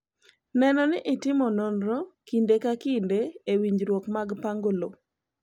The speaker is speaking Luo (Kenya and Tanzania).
Neno ni itimo nonro kinde ka kinde e winjruok mag pango lowo.